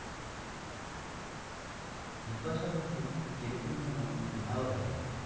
বিপাশা বসু কিরকম যেন উধাও হয়ে গেল।